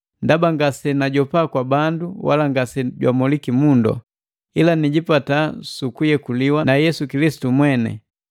Ndaba ngasejijopa kwa bandu wala ngasejamoliki mundu, ila nijipata su kuyekuliwa na Yesu Kilisitu mweni.